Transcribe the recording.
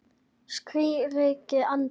skríkti Arndís.